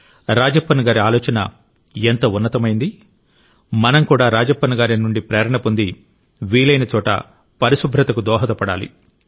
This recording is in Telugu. రాజప్పన్ గారి ఆలోచన ఎంత ఉన్నతమైంది మనం కూడా రాజప్పన్ గారి నుండి ప్రేరణ పొంది వీలైన చోట పరిశుభ్రతకు దోహదపడాలి